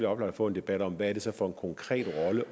oplagt få en debat om hvad det så er for en konkret rolle